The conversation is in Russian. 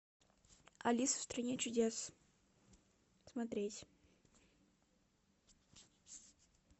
алиса в стране чудес смотреть